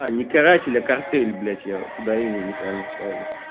не каратель а картель блять я ударение не правильно ставлю